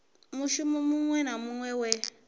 mushumo muṅwe na muṅwe we